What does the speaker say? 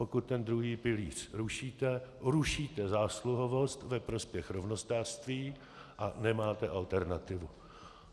Pokud ten druhý pilíř rušíte, rušíte zásluhovost ve prospěch rovnostářství a nemáte alternativu.